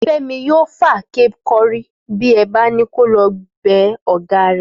Fẹ́mi yóò fàáké kọ́rí bí ẹ bá ni ko lọ bẹ ọ̀gá rẹ̀